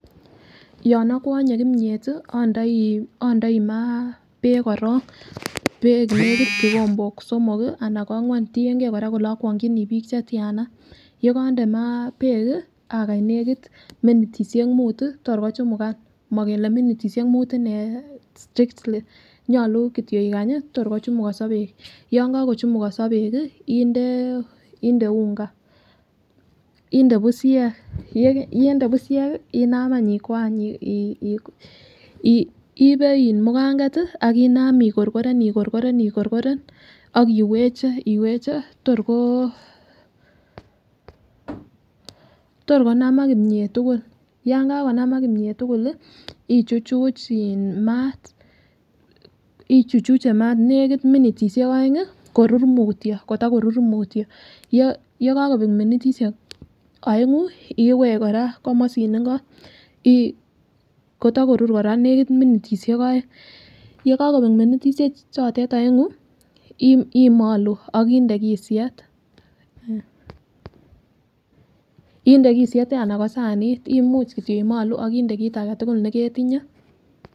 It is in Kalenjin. Yon okwonye kimiet tii indoi indoi maa beek korong beek nekit ikombok somok kii anan kwangwa tiyengee Koraa kole okwonginii bik chetyana yekonde maa beek kii akany nekit minitishek mut tii yoe kochumugan mokele minitishek mut inee strictly nyolu kityok ikanyi tor kochumukoso beek, yon kokochumukoso beek kii inde inde unga inde bushek. Yekende bushek inam any ikwany Ii ibe mukanget tii akinam igorgoren igorgoren igorgoren ak iweche iweche tor ko tor konamak komiet tukul yon kakonamak kimiet tukuk lii ichechu in mat ichuchuche mat nekit minitishek oengi koror mutyo kotakorur mutyo. Yekokobek minitishek oengu iweche Koraa komosin inko Ii kotakorur Koraa nekit minitishek oeng , yekokobek minitishek chotet oengu imolu ok inde kisyet. Inde kisyet anan kosanit imuch kityok imolu akinde kit agetukul neketinye.